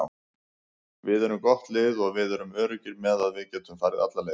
Við erum gott lið og við erum öruggir með að við getum farið alla leið.